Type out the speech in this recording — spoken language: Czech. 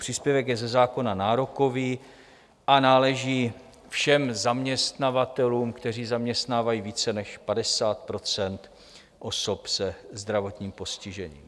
Příspěvek je ze zákona nárokový a náleží všem zaměstnavatelům, kteří zaměstnávají více než 50 % osob se zdravotním postižením.